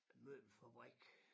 Møbelfabrik